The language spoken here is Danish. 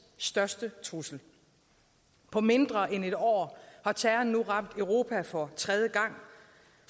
største trussel på mindre end et år har terroren nu ramt europa for tredje gang